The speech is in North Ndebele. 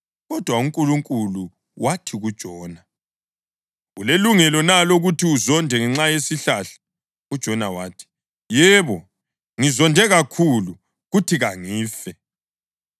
Kodwa uNkulunkulu wathi kuJona, “Ulelungelo na lokuthi uzonde ngenxa yesihlahla?” UJona wathi, “Yebo. Ngizonde kakhulu, kuthi kangife.”